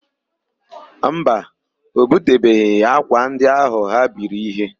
Mba, o butebeghị ákwà ndị áhụ̀ ha biri íhé.